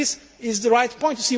This is the right point.